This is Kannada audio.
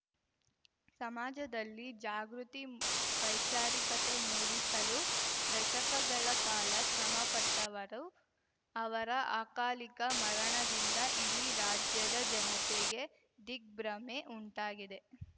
ಸಮಾಜದಲ್ಲಿ ಜಾಗೃತಿ ವೈಚಾರಿಕತೆ ಮೂಡಿಸಲು ದಶಕಗಳ ಕಾಲ ಶ್ರಮಪಟ್ಟವರು ಅವರ ಅಕಾಲಿಕ ಮರಣದಿಂದ ಇಡೀ ರಾಜ್ಯದ ಜನತೆಗೆ ದಿಗ್ಭ್ರಮೆ ಉಂಟಾಗಿದೆ